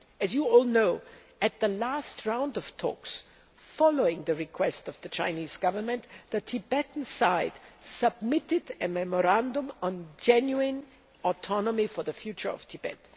As you all know, at the last round of talks, following the request of the Chinese Government, the Tibetan side submitted a memorandum on genuine autonomy for the future of Tibet.